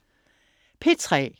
P3: